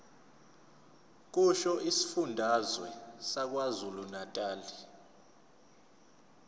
kusho isifundazwe sakwazulunatali